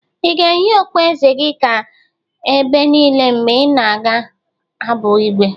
Ị ga-eyi okpueze gi ga ebe niile mgbe ị ga-abụ Igwe?